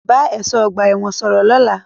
Talk to the prison guard tomorrow